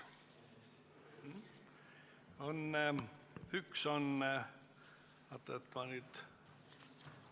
Üks on, ma vaatan, et ma nüüd ...